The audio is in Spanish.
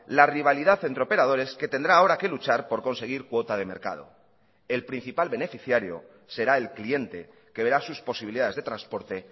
la rivalidad entre operadores que tendrá ahora que luchar por conseguir cuota de mercado y el principal beneficiario será el cliente que verá sus posibilidades de transporte